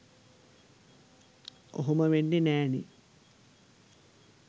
ඔහොම වෙන්නෙ නෑනෙ